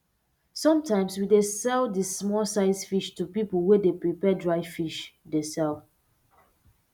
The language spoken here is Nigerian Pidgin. sometimes we dey sell di small size fish to pipo wey dey prepare dry fish dey sell